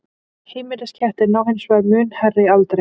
heimiliskettir ná hins vegar mun hærri aldri